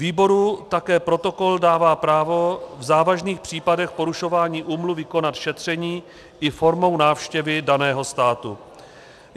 Výboru také protokol dává právo v závažných případech porušování úmluvy konat šetření i formou návštěvy daného státu.